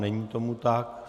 Není tomu tak.